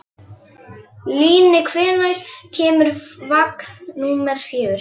Líni, hvenær kemur vagn númer fjögur?